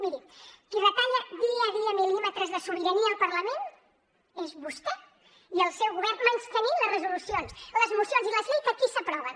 miri qui retalla dia a dia mil·límetres de sobirania al parlament són vostè i el seu govern menystenint les resolucions les mocions i les lleis que aquí s’aproven